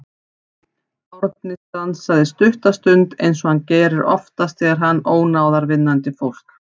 Árni stansaði stutta stund eins og hann gerir oftast þegar hann ónáðar vinnandi fólk.